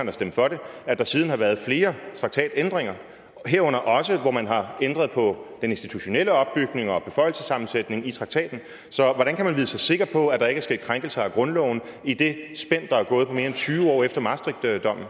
har stemt for det at der siden har været flere traktatændringer herunder også områder hvor man har ændret på den institutionelle opbygning og på beføjelsessammensætningen i traktaten så hvordan kan man vide sig sikker på at der ikke er sket krænkelser af grundloven i det spænd der er på mere end tyve år efter maastrichtdommen